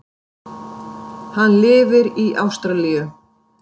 Hann lifir í Ástralíu.